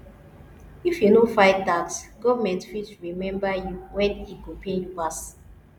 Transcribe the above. if you no file tax government fit remember you when e go pain you pass